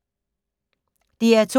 DR2